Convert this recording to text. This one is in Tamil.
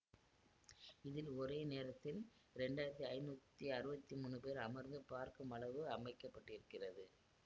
இதில் ஒரே நேரத்தில் இரண்டாயிரத்தி ஐநூத்தி அறுவத்தி மூனு பேர் அமர்ந்து பார்க்குமளவு அமைக்கப்பட்டிருக்கிறது